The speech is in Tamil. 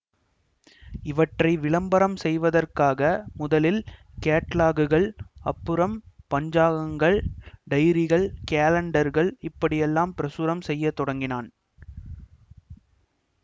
இவற்றை விளம்பரம் செய்வதற்காக முதலில் கேட்லாக்குகள் அப்புறம் பஞ்சாங்கங்கள் டைரிகள் கேலண்டர்கள் இப்படியெல்லாம் பிரசுரம் செய்ய தொடங்கினான்